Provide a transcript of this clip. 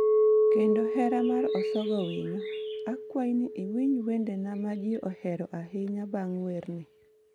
kendo hera mar Osogo Winyo. Akwayi ni iwinj wendega ma ji ohero ahinya bang' werni.